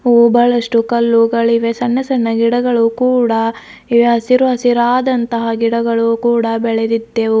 ಓ ಬಹಳಷ್ಟು ಕಲ್ಲುಗಳಿವೆ ಸಣ್ಣ ಸಣ್ಣ ಗಿಡಗಳು ಕೂಡ ಇವೆ ಹಸಿರು ಹಸಿರಾದಂತಹ ಗಿಡಗಳು ಕೂಡ ಬೆಳೆದಿದ್ದೆವು.